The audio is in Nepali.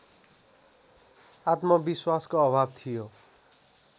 आत्मविश्वासको अभाव थियो